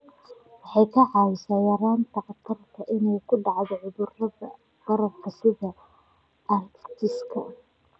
Waxay kaa caawinaysaa yaraynta khatarta ah inay ku dhacaan cudurrada bararka sida arthritis-ka.